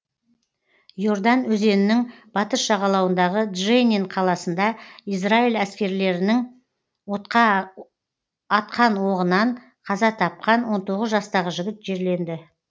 и ордан өзенінің батыс жағалауындағы дженин қаласында израиль әскерилерінің атқан оғынан қаза тапқан он тоғыз жастағы жігіт жерленді